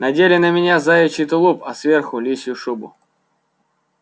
надели на меня заячий тулуп а сверху лисью шубу